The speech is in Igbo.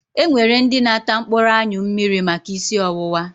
E nwere ndị na-ata mkpụrụ anyụ mmiri maka ísí ọwụwa.